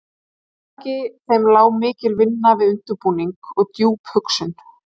Að baki þeim lá mikil vinna við undirbúning og djúp hugsun.